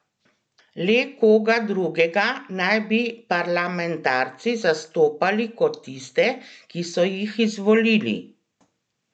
Le koga drugega naj bi parlamentarci zastopali kot tiste, ki so jih izvolili?